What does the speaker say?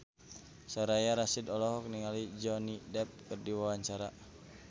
Soraya Rasyid olohok ningali Johnny Depp keur diwawancara